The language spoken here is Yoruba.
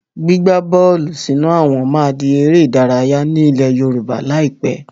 Gbígba bọ́ọ́lù sínú àwọn máa di ère ìdárayá ni ilẹ̀ Yorùbá lai pẹ̀.